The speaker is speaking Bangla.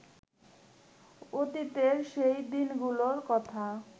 অতীতের সেই দিনগুলোর কথা